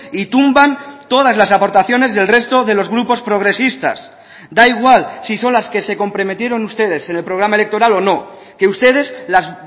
y tumban todas las aportaciones del resto de los grupos progresistas da igual si son las que se comprometieron ustedes en el programa electoral o no que ustedes las